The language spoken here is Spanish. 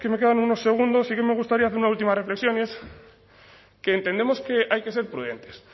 que me quedan unos segundos sí que me gustaría hacer una última reflexión y es que entendemos que hay que ser prudentes